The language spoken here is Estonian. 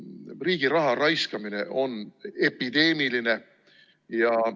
Riigi raha raiskamine on epideemiline.